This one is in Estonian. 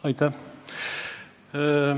Aitäh!